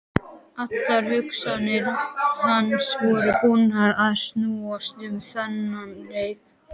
Allar hugsanir hans voru búnar að snúast um þennan leik.